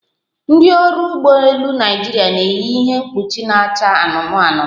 Ndị ọrụ ụgbọ elu Naịjirịa na-eyi ihe mkpuchi na-acha anụnụ anụnụ